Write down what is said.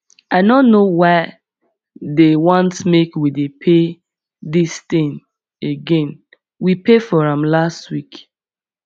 i no know why dey want make we pay dis thing again we pay for am last week